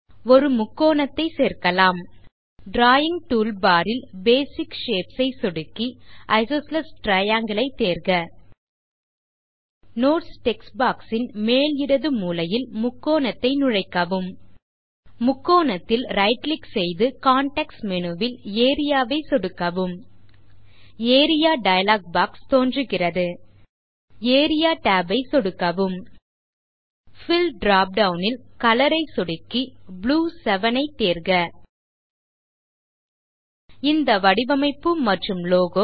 ஒரு முக்கோணத்தைச் சேர்க்கலாம் டிராவிங் டூல்பார் ல் பேசிக் ஷேப்ஸ் ஐ சொடுக்கி ஐசோஸ்ஸிலீஸ் Triangleஐ தேர்க நோட்ஸ் டெக்ஸ்ட் பாக்ஸ் ன் மேல் இடது மூலையில் முக்கோணத்தை நுழைக்கவும் முக்கோணத்தில் right கிளிக் செய்து கான்டெக்ஸ்ட் மேனு ல் ஏரியா ஐ சொடுக்கவும் ஏரியா டயலாக் பாக்ஸ் தோன்றுகிறது ஏரியா tab ஐ சொடுக்கவும் பில் drop டவுன் ல் கலர் ஐ சொடுக்கி ப்ளூ 7 ஐ தேர்க இந்த வடிவமைப்பு மற்றும் லோகோ